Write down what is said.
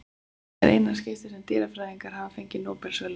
Þetta er í eina skiptið sem dýrafræðingar hafa fengið Nóbelsverðlaun.